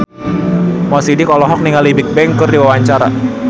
Mo Sidik olohok ningali Bigbang keur diwawancara